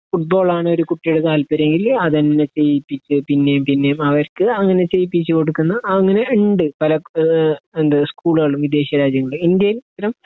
ഫൂട്‌ബോളാണ് ഒര് കുട്ടീടെ താല്പര്യങ്കിൽ അതന്നെ ചെയ്യിപ്പിച്ച് പിന്നേം പിന്നേം അവര്ക്ക് അങ്ങനെ ചെയ്യിപ്പിച്ച് കൊടുക്കുന്ന അങ്ങനെ ഇണ്ട് പല ഏഹ് എന്ത് സ്കൂളുകളിലും വിദേശ രാജ്യങ്ങളിലും ഇന്ത്യയിൽ ഇത്തരം